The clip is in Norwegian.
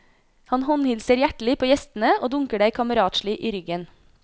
Han håndhilser hjertelig på gjestene, og dunker deg kameratslig i ryggen.